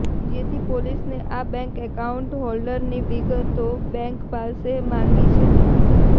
જેથી પોલીસે આ બેન્ક એકાઉન્ટ હોલ્ડરની વિગતો બેન્ક પાસે માંગી છે